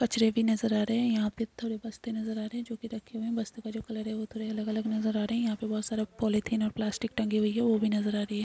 कचरे भी नजर आ रहे है यहाँ पे थोड़े बस्ते नजर आ रहे हैजो कि रखे हुए हैं बस्तो का जो कलर है वो थोड़े अलग- अलग नजर आ रहे है यहाँ पे बहुत सारे पॉलिथीन और प्लास्टिक टंकी भी हैं वो भी नजर आ रही हैं।